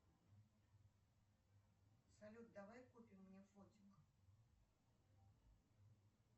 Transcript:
салют давай купим мне фотик